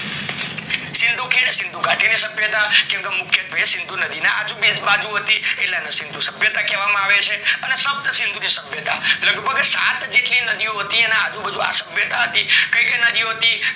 સિંધુ, સીન્ધુગાડી ની સભ્યતા કેમ કે મુખ્ય ભે સિંધુ નદી ના અજુ બાજુ હતી એટલે એને સિંધુ સભ્યતા કહેવામાં આવે છે સિંધુ સભ્યતા, લગભગ સાત જેટલી નદી ઓ હતી અને અજુ બાજુ આ સહ્ભ્યતા હતી કય કય નદી ઓ હતી